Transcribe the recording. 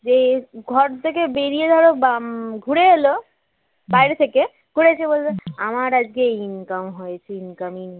যে ঘর থেকে বেরিয়ে ধর উম ঘুরে এল বাহিরে থেকে ঘুরে এসে বলবে আমার আজকে ইনকাম হয়েছে ইনকামই নেই